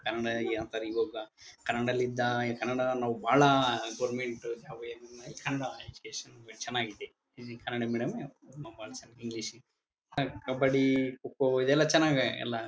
ಕನ್ನಡಿಗರಿಗೆ ಅಂತಾರೆ ಇವಾಗ ಕನ್ನಡ ದಲ್ಲಿ ಇದ್ದ ಈ ಕನ್ನಡವನ್ನು ಬಹಳ ಗೊವೆರ್ನ್ಮೆಂಟ್ ಕನ್ನಡ ಎಜುಕೇಶನ್ ಚನ್ನಾಗಿದೆ ಇದು ಕನ್ನಡ ಮೀಡಿಯಂ ಬಹಳ ಜನ ಇಂಗ್ಲಿಷ್ ಗೆ ಹ್ಹ್ ಕಬ್ಬಡಿ ಖೋ ಖೋ ಇದೆಲ್ಲ ಚನಾಗಿ ಎಲ್ಲಾ